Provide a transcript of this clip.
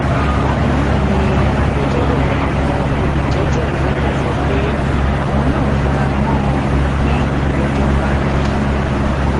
bákan náà ni agbẹjọrò àwọn olùjẹjọ yòókù sọ pé àwọn náà fara mọ ọn kí ìgbẹjọ parí